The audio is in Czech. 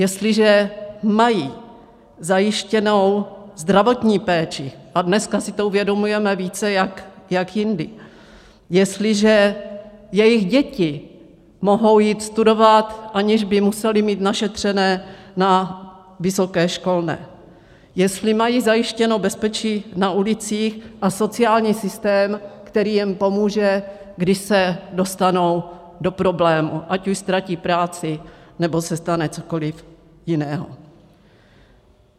Jestliže mají zajištěnou zdravotní péči, a dneska si to uvědomujeme více jak jindy, jestliže jejich děti mohou jít studovat, aniž by musely mít našetřené na vysoké školné, jestli mají zajištěno bezpečí na ulicích a sociální systém, který jim pomůže, když se dostanou do problémů, ať už ztratí práci, nebo se stane cokoliv jiného.